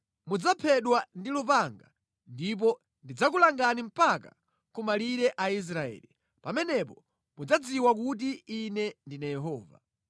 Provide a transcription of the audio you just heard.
Mudzaphedwa ndi lupanga ndipo ndidzakulangani mpaka kumalire a Israeli. Pamenepo mudzadziwa kuti Ine ndine Yehova.